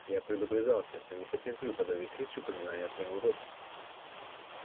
я предупреждал тебя что не потерплю под этой крышей упоминания о твоём уродстве